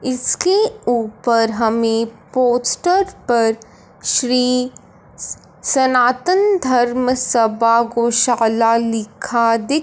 इसके ऊपर हमें पोस्टर पर श्री सनातन धर्मसबा गौशाला लिखा दि--